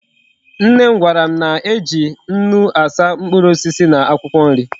Nnem gwaram na eji nnu asa mkpuru osisi na akwukwo nri